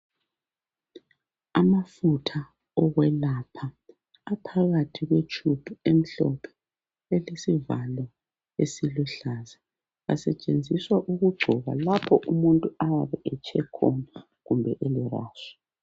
Amafutha okwelapha. Aphakathi kwetube emhlophe. Elesivalo esiluhlaza. Asetshenziswa ukugcoba, lapho umuntu ayabe etshe khona. Kumbe elerash.